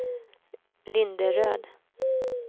Linderöd